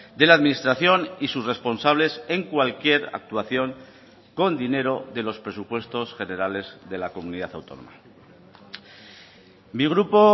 de la administración y sus responsables en cualquier actuación con dinero de los presupuestos generales de la comunidad autónoma mi grupo